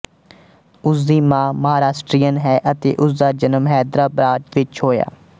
ਉਸਦੀ ਮਾਂ ਮਹਾਰਾਸ਼ਟਰੀਅਨ ਹੈ ਅਤੇ ਉਸ ਦਾ ਜਨਮ ਹੈਦਰਾਬਾਦ ਵਿੱਚ ਹੋਇਆ ਸੀ